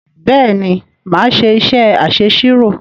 Bẹ́ẹ̀ ni, mà á ṣé iṣẹ́ aṣẹ̀sirò.